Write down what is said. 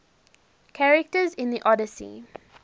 characters in the odyssey